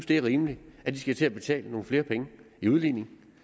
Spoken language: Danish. det er rimeligt at de skal til at betale nogle flere penge i udligning